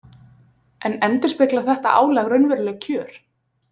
En endurspeglar þetta álag raunveruleg kjör?